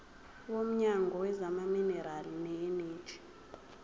womnyango wezamaminerali neeneji